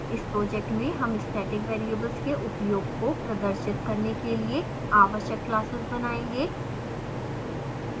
इस project में हम static variables के उपयोग को प्रदर्शित करने के लिए आवश्यक classes बनायेंगे